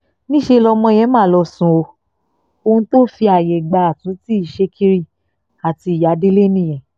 níṣẹ́ lọmọ yẹn mà lọ́ọ́ sún ọ ohun tó fi ààyè gba àtúntì ṣèkìrì àti ìyá délé nìyẹn